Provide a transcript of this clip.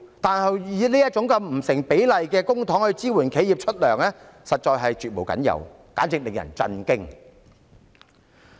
但是，以這種不成比例的方式使用公帑來支援企業發放薪金，實在是絕無僅有，簡直令人震驚。